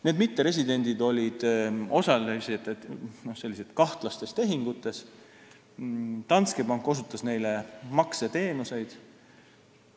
Need mitteresidendid olid osalised kahtlastes tehingutes, Danske Bank osutas neile makseteenuseid.